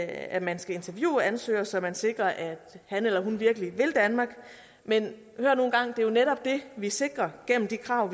at man skal interviewe ansøgere så man sikrer at han eller hun virkelig vil danmark men hør nu en gang det er jo netop det vi sikrer gennem de krav